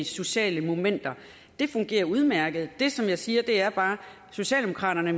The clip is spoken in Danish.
sociale momenter det fungerer udmærket det som jeg siger er bare at socialdemokraterne